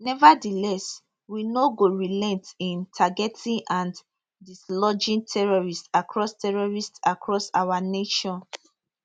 nevertheless we no go relent in targeting and dislodging terrorist across terrorist across our nation